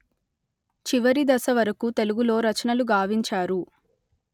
చివరి దశ వరకు తెలుగులో రచనలు గావించారు